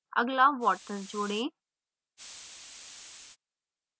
अगला water जोड़ें